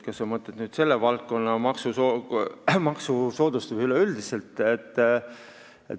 Kas sa mõtled selle valdkonna maksusoodustusi üleüldiselt?